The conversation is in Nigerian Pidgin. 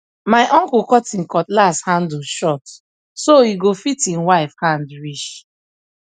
my uncle cut him cutlass handle short so e go fit him wife hand reach